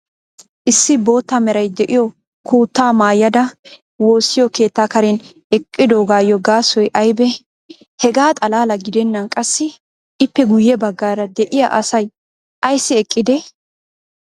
issi bootta meray de'iyo kuttaa maayada woossiyo keettaa karen eqqidoogaayo gaasoy aybee? hegaa xalaala gidennan qassi ippe guye bagaara de'iya asay ayssi eqqidee?